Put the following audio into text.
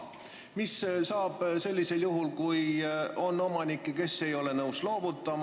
Mis saab aga sellisel juhul, kui on omanikke, kes ei ole nõus kolima?